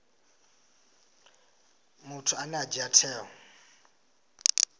muthu ane a dzhia tsheo